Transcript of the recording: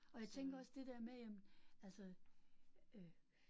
Og jeg tænker også det der med jamen altså øh